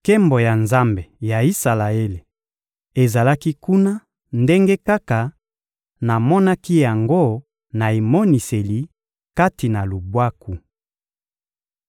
Nkembo ya Nzambe ya Isalaele ezalaki kuna ndenge kaka namonaki yango na emoniseli kati na lubwaku.